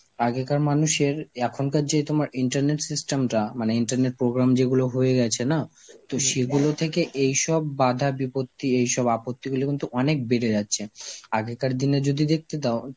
আগেকার মানুষের এখনকার যেই তোমার internet system টা মানে internet program যেগুলো হয়ে গেছে না, তো সেইগুলো থেকে এইসব বাধা বিপত্তি, এইসব আপত্তিগুলো কিন্তু অনেক বেড়ে যাচ্ছে. আগেকার দিনে যদি দেখতে তাও